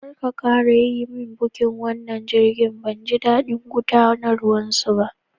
Karka ƙara yi min bukin wannan jirgin, banji daɗin gudanarwan su ba!